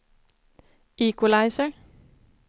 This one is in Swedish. equalizer